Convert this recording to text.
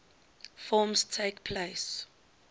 forms takes place